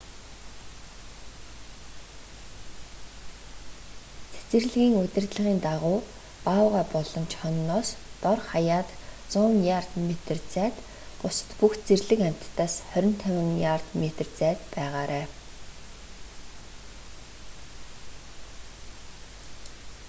цэцэрлэгийн удирдлагын дагуу баавгай болон чононоос дор хаяад 100 ярд/метр зайд бусад бүх зэрлэг амьтдаас 25 ярд/метр зайд байгаарай!